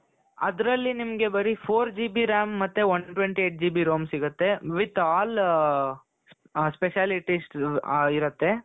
ಅದರಲ್ಲಿ ನಿಮಗೆ four GB RAM ಮತ್ತೆ one twenty eight GB ROM ಸಿಗುತ್ತೆ with all specialities ಇರುತ್ತೆ .